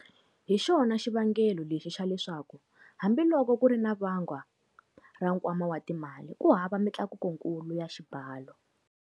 Hi xona xivangelo lexi xa leswaku, hambiloko ku ri na vangwa ra nkwama wa ti mali, ku hava mitlakukokulu ya xibalo.